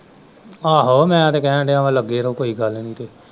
ਆਹੋ ਮੈਂ ਤਾਂ ਕਹਿਣ ਦਿਆ ਲੱਗੇ ਰਹੋ ਕੋਈ ਗੱਲ ਨਹੀਂ ਕੋਈ।